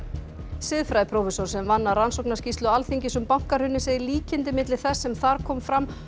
siðfræðiprófessor sem vann að rannsóknarskýrslu Alþingis um bankahrunið segir líkindi milli þess sem þar komi fram